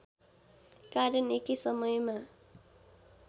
कारण एकै समयमा